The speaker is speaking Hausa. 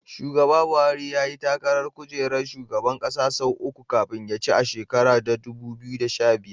Shugaba Buhari yayi takarar kujerar shugaban ƙasa sau uku kafin ya ci a shekarar dubu biyu da sha biyar.